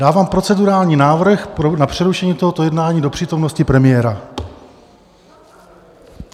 Dávám procedurální návrh na přerušení tohoto jednání do přítomnosti premiéra.